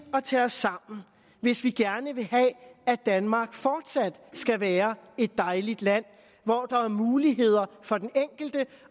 at tage os sammen hvis vi gerne vil have at danmark fortsat skal være et dejligt land hvor der er muligheder for den enkelte